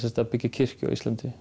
að byggja kirkju á Íslandi